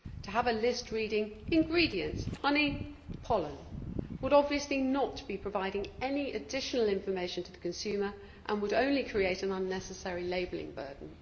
To have a list reading Ingredients honey, pollen' would obviously not be providing any additional information to the consumer and would only create an unnecessary labelling burden.